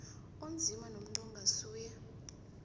onzima nomuntu ongasuye